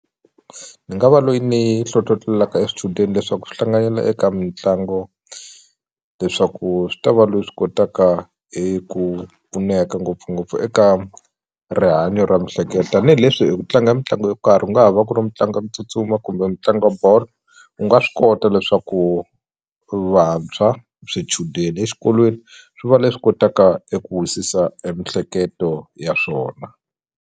Ni nga va loyi ni hlohlotelaka e swichudeni leswaku swi hlanganela eka mitlangu leswaku swi ta va loyi swi kotaka hi ku pfuneka ngopfungopfu eka rihanyo ra tanihileswi ku tlanga mitlangu yo karhi ku nga ha va ku ri mitlanga ku tsutsuma kumbe mitlangi bolo u nga swi kota leswaku vantshwa swichudeni exikolweni swi va leswi kotaka eku wisisa e mihleketo ya swona.